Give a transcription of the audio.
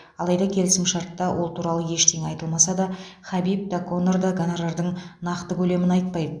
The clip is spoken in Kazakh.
алайда келісімшартта ол туралы ештеңе айтылмаса да хабиб та конор да гонорардың нақты көлемін айтпайды